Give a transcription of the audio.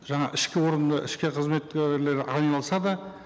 жаңа ішкі органда ішкі қызметкерлер айналысады